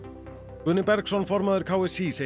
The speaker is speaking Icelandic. Guðni Bergsson formaður k s í segir